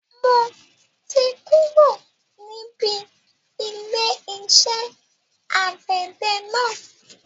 Mo ti kúrò níbi ilé iṣẹ́ àgbẹ̀dẹ náà